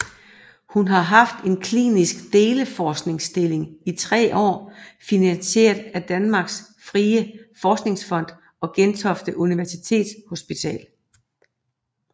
Hun har haft en klinisk deleforskerstilling i 3 år finansieret af Danmarks Frie Forskningsfond og Gentofte Universitetshospital